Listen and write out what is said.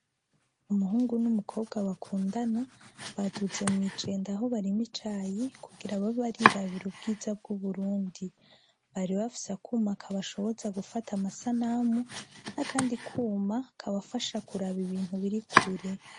Umuhungu n'umukobwa bakundana baduze mwijenda aho barimira icayi kugira babe barirabira ubwiza bw'Uburundi. Bari bafise akuma kabashoboza gufata amasanamu nakandi kuma kabafasha kuraba ibintu biri kure.